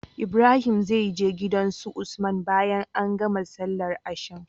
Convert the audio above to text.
Ibrahim zai je gidan su usman bayan an gama sallar asham